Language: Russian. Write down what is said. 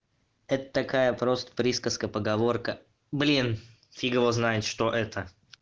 это такая просто присказка поговорка блин фиг его знает что это